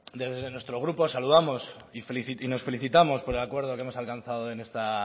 desde nuestro grupo saludamos y nos felicitamos por el acuerdo que hemos alcanzado en esta